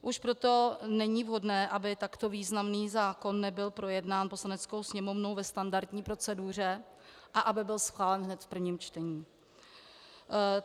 Už proto není vhodné, aby takto významný zákon nebyl projednán Poslaneckou sněmovnou ve standardní proceduře a aby byl schválen hned v prvním čtení.